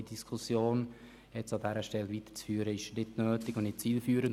Die Diskussion an dieser Stelle weiterzuführen, ist nicht nötig und nicht zielführend.